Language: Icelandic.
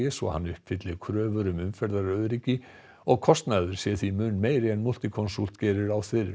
svo hann uppfylli kröfur um umferðaröryggi og kostnaður sé því mun meiri en Multiconsult gerir ráð fyrir